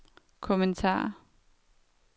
kommentar